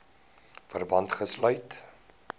verband gesluit